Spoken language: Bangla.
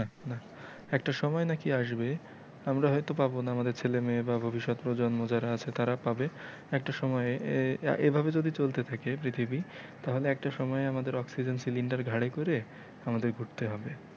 একটা সময় নাকি আসবে আমরা হয়তো পাব না আমাদের ছেলে মেয়ে বা ভবিষ্যৎ প্রজন্ম যারা আছে তারা পাবে একটা সময় এভাবে যদি চলতে থাকে পৃথিবী তাহলে একটা সময়ে আমাদের oxygen cylinder ঘাড়ে করে আমাদের ঘুরতে হবে।